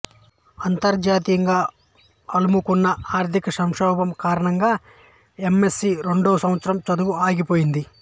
అంతర్జాతీయంగా అలుముకున్న ఆర్థిక సంక్షోభం కారణంగా ఎం ఎస్ సి రెండో సంవత్సరం చదువు ఆగిపోయింది